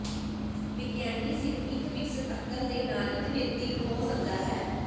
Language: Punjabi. ਵਿਗਿਆਨੀ ਸਿਰਫ ਇੱਕ ਵਿਕਸਤ ਅਕਲ ਦੇ ਨਾਲ ਇੱਕ ਵਿਅਕਤੀ ਨੂੰ ਹੋ ਸਕਦਾ ਹੈ